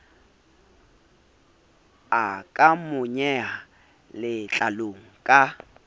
a ka monyeha letlalong ka